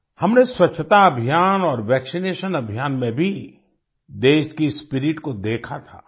हमने स्वच्छता अभियान और वैक्सीनेशन अभियान में भी देश की स्पिरिट को देखा था